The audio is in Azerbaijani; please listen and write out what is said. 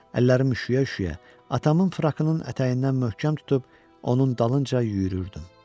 Əllərim üşüyə-üşüyə atamın frakının ətəyindən möhkəm tutub onun dalınca yürüyürdüm.